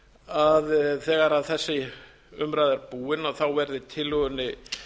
að þegar þessi umræða er búin verði tillögunni